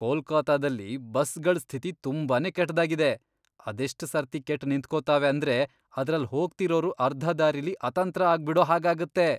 ಕೊಲ್ಕತ್ತಾದಲ್ಲಿ ಬಸ್ಗಳ್ ಸ್ಥಿತಿ ತುಂಬಾನೇ ಕೆಟ್ದಾಗಿದೆ! ಅದೆಷ್ಟ್ ಸರ್ತಿ ಕೆಟ್ ನಿಂತ್ಕೋತಾವೆ ಅಂದ್ರೆ ಅದ್ರಲ್ಲ್ ಹೋಗ್ತಿರೋರು ಅರ್ಧ ದಾರಿಲಿ ಅತಂತ್ರ ಆಗ್ಬಿಡೋ ಹಾಗಾಗತ್ತೆ.